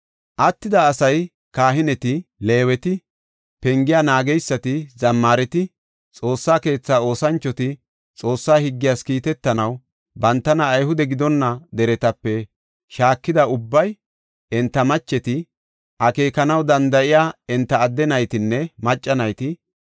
Attida asay, kahineti, Leeweti, pengiya naageysati, zammaareti, Xoossa keetha oosanchoti, Xoossa higgiyas kiitetanaw bantana Ayhude gidonna deretape shaakida ubbay, enta macheti, akeekanaw danda7iya enta adde naytinne macca nayti,